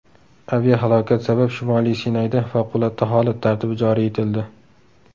Aviahalokat sabab Shimoliy Sinayda favqulodda holat tartibi joriy etildi.